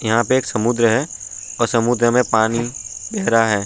यहा पे एक समुद्र है और समुद्र मे पानी गहरा है।